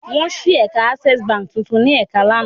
Wọ́n ṣí ẹ̀ka Access Báńkì tuntun ní Èkó lánàá.